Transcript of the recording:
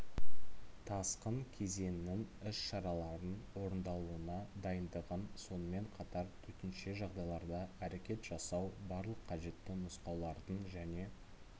тасқын кезеңінің іс-шараларын орындалуына дыйндығын сонымен қатар төтенше жағдайларда әрекет жасау барлық қажетті нұсқаулардың және